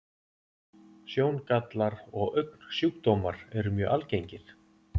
Sjóngallar og augnsjúkdómar eru mjög algengir.